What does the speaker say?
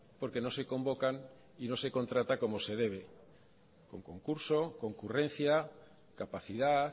porque no se convocan y no se contrata como se debe con concurso concurrencia capacidad